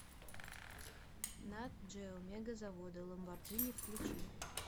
нат джео мегазаводы ламборджини включи